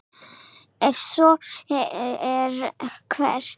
Ef svo er, hvern?